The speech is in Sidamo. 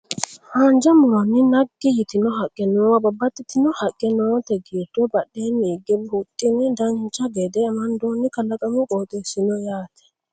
Haanja muronni naggi yitino haqqe noowa babbaxxitino haqqe noote giddo badheenni hige huxxine dancha gede amandoonni kalaqamu qooxeessi no yaate